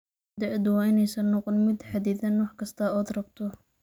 Da'du waa inaysan noqon mid xaddidan wax kasta oo aad rabto.